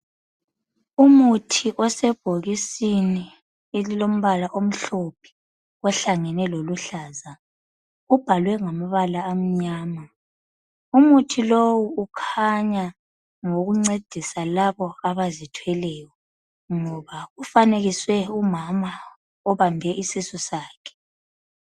Umuthi osebhokisini elilombala omhlophe ohlangene loluhlaza ubhalwe ngamabala amnyama. Umuthi lowu ukhanya ngowokuncedisa labo abazithweleyo ngoba ufanekiswe umama obambe isisu sakhe.